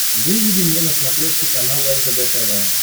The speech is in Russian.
выведи мне на смотрешке канал ржд тв